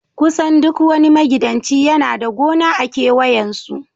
kusan duk wani magidanci yana da gona a kewayen su